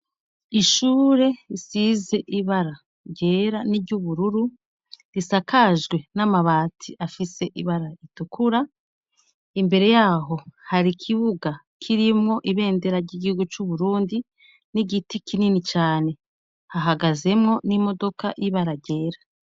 Ishure risize ibara ryera n'iryubururu, risakajwe n'amabati afise ibara ritukura, imbere yaho hari ikibuga kirimwo ibendera ry'igihugu c'Uburundi, n'igiti kinini cane. Hahagazemwo n'imodoka y'ibara ryera.